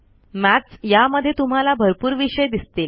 मठ यामध्ये तुम्हाला भरपूर विषय दिसतील